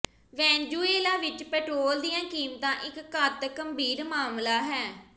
Venezuela ਵਿਚ petrol ਦੀਆਂ ਕੀਮਤਾਂ ਇਕ ਘਾਤਕ ਗੰਭੀਰ ਮਾਮਲਾ ਹੈ